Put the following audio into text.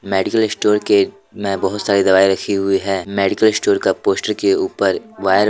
medical store के में बहुत सारी दवाइयां रखी हुई है मेडिकल स्टोर का पोस्टर के ऊपर वायर --